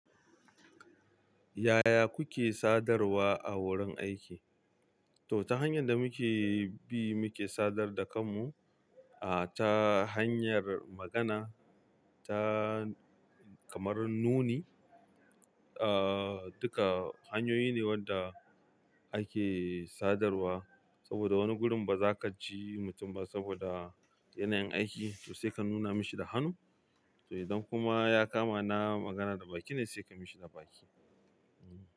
Yaya kuke sadarwa a wurin aiki? To ta hanyar da muke bi muke sadar da kanmu, ah, ta hanyar magana, ta kamar nuni, ah, duka hanyoyi ne wadda ake sadarwa. Saboda wani gurun ba za ka ji mutum ba saboda yanayin aiki, to sai ka nuna mashi da hannu. To idan kuma ya kama na magana da baki ne, sai ka yi mashi da baki.